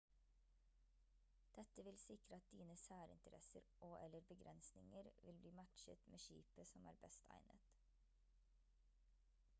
dette vil sikre at dine særinteresser og/eller begrensninger vil bli matchet med skipet som er best egnet